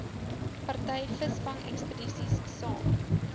party visvangekspedisies saam